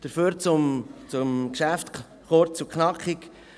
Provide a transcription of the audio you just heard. Dafür zum Geschäft, kurz und knackig: